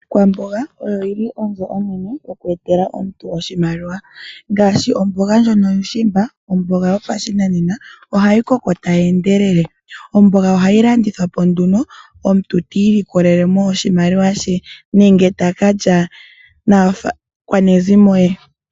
Iikwamboga oyo yili onzo onene oku etela omuntu oshimaliwa, ngaashi, omboga ndyono yuushishimba. Omboga yopashinanena ohayi koko tayi endelele. Omboga ohayi landithwapo nduno omuntu ti ilikolelemo oshimaliwa she, nenge takalya naakwanezimo lye.